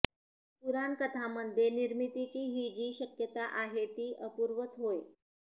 पुराणकथांमध्ये निर्मितीची ही जी शक्यता आहे ती अपूर्वच होय